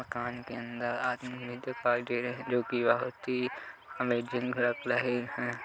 मकान के अंदर आदमी भी दिखाई दे रहे है जो की बहुत ही अमेजिंग लग रहे है।